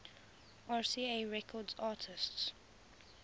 rca records artists